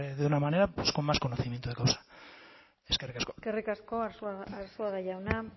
de una manera pues con más conocimiento de causa eskerrik asko eskerrik asko arzuaga jauna